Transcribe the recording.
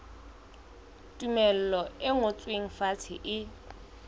tumello e ngotsweng fatshe e